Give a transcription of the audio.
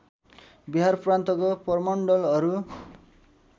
बिहार प्रान्तको प्रमण्डलहरू